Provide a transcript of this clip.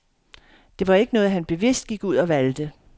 Det var ikke noget han bevidst gik ud og valgte.